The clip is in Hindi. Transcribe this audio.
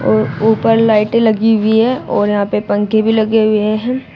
और ऊपर लाइटें लगी हुई है और यहां पे पंखे भी लगे हुए हैं।